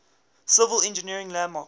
civil engineering landmarks